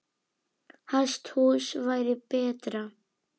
Hesthús væri betra.